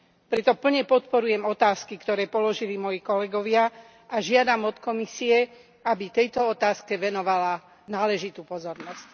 Preto plne podporujem otázky, ktoré položili moji kolegovia, a žiadam od Komisie, aby tejto otázke venovala náležitú pozornosť.